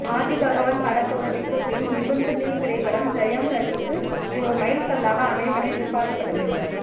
ஆதிபகவன் படத்தோல்விக்கு பின் நிமிர்ந்து நில் திரைப்படம் ஜெயம் ரவி க்கு ஒரு மைல் கல்லாக அமையும் என எதிர்ப்பார்க்கப்பட்டது